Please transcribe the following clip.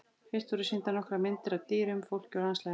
Fyrst voru sýndar nokkrar myndir af ýmsum dýrum, fólki og landslagi.